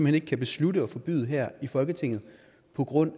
hen ikke kan beslutte at forbyde her i folketinget på grund